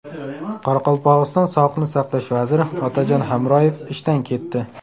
Qoraqalpog‘iston sog‘liqni saqlash vaziri Otajon Hamroyev ishdan ketdi.